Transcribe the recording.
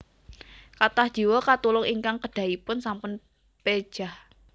Kathah jiwa katulung ingkang kedahipun sampun pejah